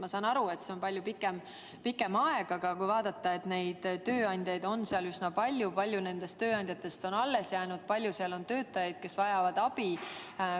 Ma saan aru, et see on palju pikem aeg, aga kui vaadata, siis tööandjaid on seal üsna palju ja paljud nendest tööandjatest on alles jäänud ja seal on palju töötajaid, kes vajavad abi.